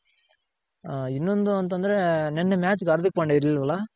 ಹ ಇನ್ನೊಂದು ಅಂತ ಅಂದ್ರೆ ನೆನ್ನೆ ಮ್ಯಾಚ್ಗ್ ಹಾರ್ದಿಕ್ ಪಾಂಡೆ ಇರ್ಲಿಲ್ವಲ್ಲ.